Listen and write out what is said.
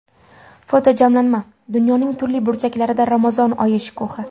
Fotojamlanma: Dunyoning turli burchaklarida Ramazon oyi shukuhi.